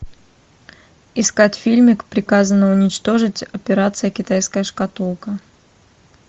искать фильмик приказано уничтожить операция китайская шкатулка